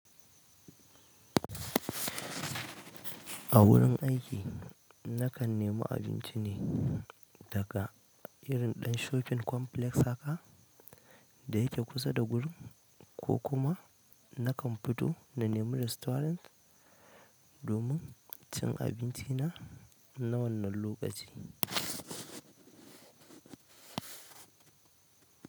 A wurin aiki nakan nemi abinci ne daga irin ɗan shofin complex haka. Da yake kusa da gurin ko kuma. Nakan fito na nemi restaurant. Domin cin abinci na na wannan lokaci.